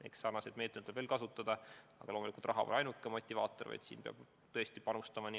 Eks sarnaseid meetmeid tuleb veel kasutada, aga loomulikult raha pole ainuke motivaator.